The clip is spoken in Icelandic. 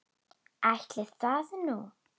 Ætli það nú.